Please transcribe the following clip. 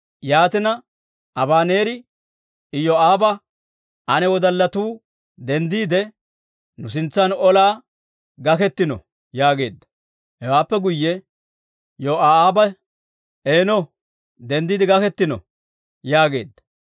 Yaatina, Abaneeri Iyoo'aaba, «Ane wodallatuu denddiide, nu sintsan olaa gaketino» yaageedda. Hewaappe guyye Yoo'aabe, «Eeno, denddiide gaketino» yaageedda.